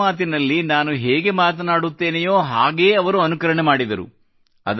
ಮನದ ಮಾತಿನಲಿ್ಲ ನಾನು ಹೇಗೆ ಮಾತನಾಡುತ್ತೇನೆಯೋ ಹಾಗೆ ಅವರು ಅನುಕರಣೆಯನ್ನು ಮಾಡಿದರು